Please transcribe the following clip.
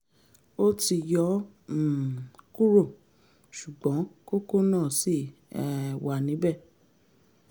ó ti yọ ọ́ um kúrò ṣùgbọ́n kókó náà ṣì um wà níbẹ̀